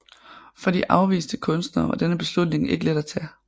For de afviste kunstnere var denne beslutning ikke let at tage